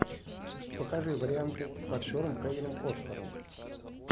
покажи варианты с актером кевином костнером